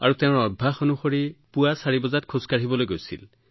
তেওঁৰ ৰুটিন অনুসৰি তেওঁ ৰাতিপুৱা ৪ বজাত খোজ কাঢ়িবলৈ ৰাওনা হৈছিল